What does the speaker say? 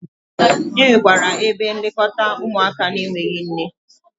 Enwekwara ebe nlekọta ụmụaka n'enweghi nne.